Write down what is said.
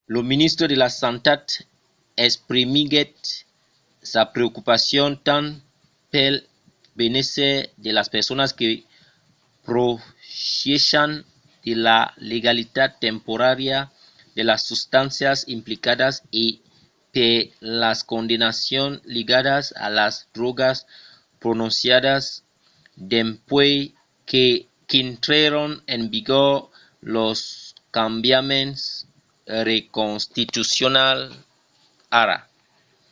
lo ministre de la santat exprimiguèt sa preocupacion tant pel benésser de las personas que profièchan de la legalitat temporària de las substàncias implicadas e per las condemnacions ligadas a las drògas prononciadas dempuèi qu'intrèron en vigor los cambiaments inconstitucionals ara